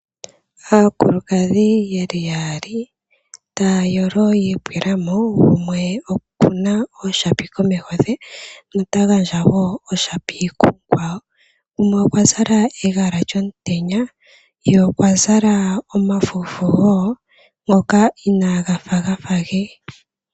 Aakulukadhi yeli yaali taayolo yitulamo gumwe okuna ooshapi komeho ndhe yeta gandja woo oshapi kumukwawo, gumwe okwazala egala lyomtenya ye okwa zala omafufu woo ngoka inaagafa gafa ge.